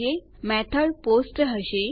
આપણે સરળતા માટે પેજીસને જુદા જુદા રાખીશું